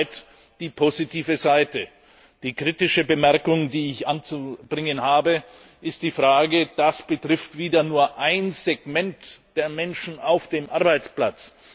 Soweit die positive Seite. Die kritische Bemerkung, die ich anzubringen habe, ist die Frage Das betrifft wieder nur ein Segment der Menschen auf dem Arbeitsmarkt.